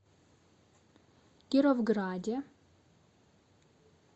кировграде